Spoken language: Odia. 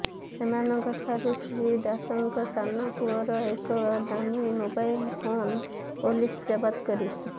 ସେମାନଙ୍କଠାରୁ ଶ୍ରୀ ଦାସଙ୍କ ସାନ ପୁଅର ଏକ ଦାମୀ ମୋବାଇଲ୍ ଫୋନ୍ ପୁଲିସ୍ ଜବତ କରିଛି